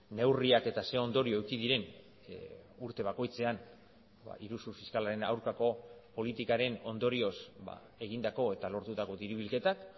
neurriak eta ze ondorio eduki diren urte bakoitzean iruzur fiskalaren aurkako politikaren ondorioz egindako eta lortutako diru bilketak